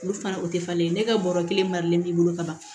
Olu fana o tɛ falen ne ka bɔrɔ kelen maralen b'i bolo ka ban